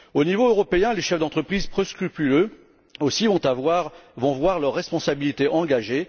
Au niveau européen, les chefs d'entreprises peu scrupuleux aussi vont voir leur responsabilité engagée.